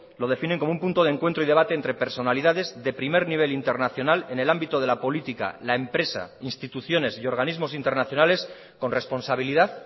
lo definen como un punto de encuentro y debate entre personalidades de primer nivel internacional en el ámbito de la política la empresa instituciones y organismos internacionales con responsabilidad